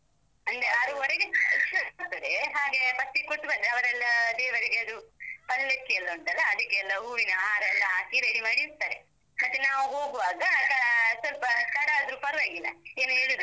ಅಂದ್ರೆ ಆರೂವರೆಗೆ ಪೂಜೆ ಶುರು ಆಗ್ತದೇ. ಹಾಗೆ first ಗ್‌ ಕೊಟ್ಟು ಬಂದ್ರೆ ಅವರೆಲ್ಲ ದೇವರಿಗೆ ಅದು ಪಲ್ಲಕ್ಕಿ ಎಲ್ಲ ಉಂಟಲ್ಲಅದಿಕೆಲ್ಲ ಹೂವಿನ ಹಾರ ಎಲ್ಲ ಹಾಕಿ ready ಮಾಡಿ ಇಡ್ತಾರೆ. ಮತ್ತೆ ನಾವು ಹೋಗುವಾಗ ಆ ಸ್ವಲ್ಪ ತಡ ಆದ್ದ್ರೂ ಪರ್ವಾಗಿಲ್ಲ. ಏನೂ ಹೇಳುದಿಲ್ಲ.